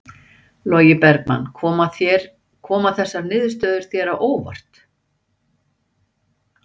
Logi Bergmann: Koma þessar niðurstöður þér á óvart?